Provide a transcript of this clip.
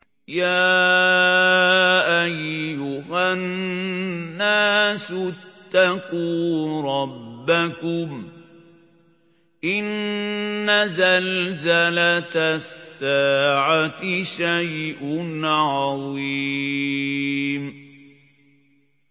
يَا أَيُّهَا النَّاسُ اتَّقُوا رَبَّكُمْ ۚ إِنَّ زَلْزَلَةَ السَّاعَةِ شَيْءٌ عَظِيمٌ